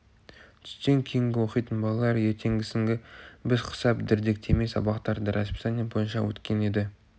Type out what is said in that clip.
түстен кейін оқитын балалар ертеңгісінгі біз құсап дірдектемей сабақтары расписание бойынша өткен еді